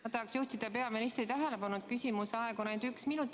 Ma tahan juhtida peaministri tähelepanu sellele, et küsimuse esitamiseks on aega ainult üks minut.